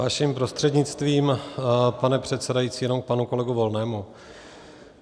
Vaším prostřednictvím, pane předsedající, jenom k panu kolegovi Volnému.